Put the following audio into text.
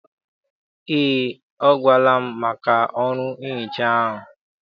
Eé, ọ gwara m maka ọrụ nhicha ahụ.